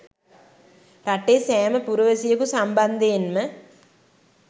රටේ සෑම පුරවැසියෙකු සම්බන්ධයෙන්ම